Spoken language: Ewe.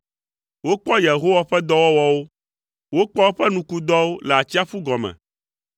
Wokpɔ Yehowa ƒe dɔwɔwɔwo, wokpɔ eƒe nukudɔwo le atsiaƒu gɔme,